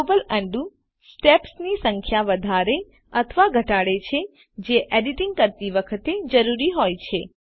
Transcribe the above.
global undo undo steps ની સંખ્યા વધાડે અથવા ઘટાડે છે જે એડીટીંગ કરતી વખતે જરૂરી હોય શકે છે